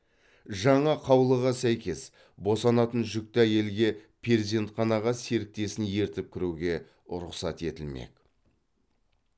жаңа қаулыға сәйкес босанатын жүкті әйелге перзентханаға серіктесін ертіп кіруге рұқсат етілмек